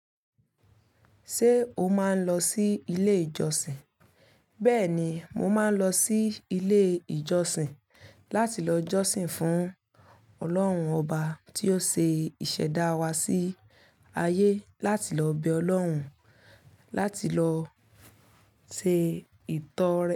Ṣé o máa ń lọ sí ilé ìjọsìn? Bẹ́ẹ̀ni, mo máa ń lọ sí ilé ìjọsìn láti lọ jọ́sìn fún Ọlọ́run ọba tí ó ṣe ìṣẹ̀dá wa sí ayé láti lọ bẹ Ọlọ́run láti lọ ṣe ìtọ́rẹ.